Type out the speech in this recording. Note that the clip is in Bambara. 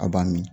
A b'a min